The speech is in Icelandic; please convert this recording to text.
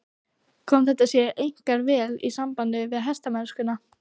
Kom þetta sér einkar vel í sambandi við hestamennskuna.